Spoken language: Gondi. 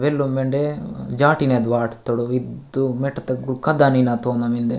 वेलो मेडे जाटीन एद वात तोड़ो इदु मेठथतोगु खद्दा नीना तोना मिन्दे।